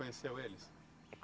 Você conheceu eles?